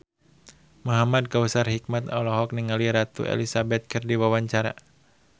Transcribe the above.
Muhamad Kautsar Hikmat olohok ningali Ratu Elizabeth keur diwawancara